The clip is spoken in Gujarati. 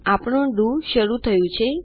આપણે આપણું ડીઓ શરુ થાય છે